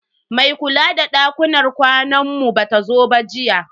Mai kula da dakunan kwanan mu bata zo ba jiya.